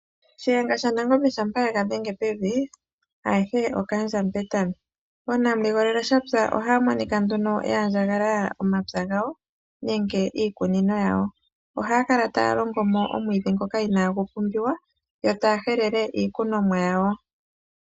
Shiyenga shanangombe shampa yega dhenge pevi, ayehe okaandja mupetami. Oonamuligolele shapya ohaya monika nduno ya andjagalala omapya gawo, nenge iikunino yawo. Ohaya kala taya longo mo omwiidhi ngoka inaagu pumbiwa, yo taya helele iikunomwa yawo.